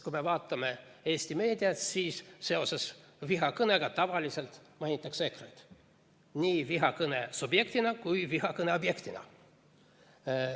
Kui vaatame Eesti meediat, siis seoses vihakõnega mainitakse tavaliselt EKRE‑t, nii vihakõne subjektina kui ka vihakõne objektina.